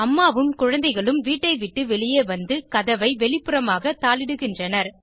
அம்மாவும் குழந்தைகளும் வீட்டை விட்டு வெளியே வந்து கதவை வெளிப்புறமாக தாளிடுகின்றனர்